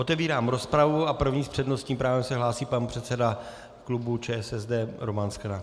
Otevírám rozpravu a první s přednostním právem se hlásí pan předseda klubu ČSSD Roman Sklenák.